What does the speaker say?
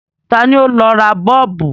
Ta ni ó lọ ra Bọ́ọ̀bù?